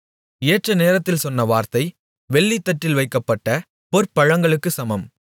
ஏற்ற நேரத்தில் சொன்ன வார்த்தை வெள்ளித்தட்டில் வைக்கப்பட்ட பொற்பழங்களுக்குச் சமம்